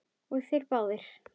Og þeir báðir.